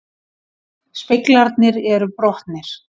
Speglarnir eru brotnir